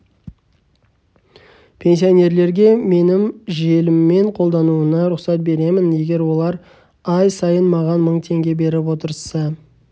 пенсионерлерге менің желіммен қолдануына рұқсат беремін егер олар ай сайын маған мың теңге беріп отырса